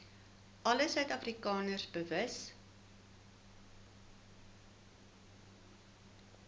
alle suidafrikaners bewus